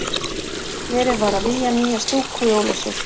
Verið var að vígja nýja stúku í Ólafsvík.